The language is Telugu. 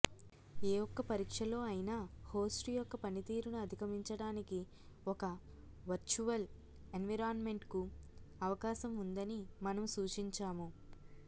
ఏ ఒక్క పరీక్షలో అయినా హోస్ట్ యొక్క పనితీరును అధిగమించటానికి ఒక వర్చువల్ ఎన్విరాన్మెంట్కు అవకాశం ఉందని మనము సూచించాము